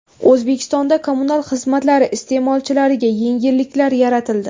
O‘zbekistonda kommunal xizmatlari iste’molchilariga yengilliklar yaratildi.